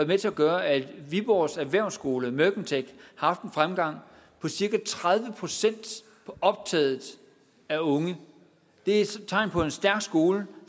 med til at gøre at viborgs erhvervsskole mercantec har haft en fremgang på cirka tredive procent i optaget af unge det er tegn på en stærk skole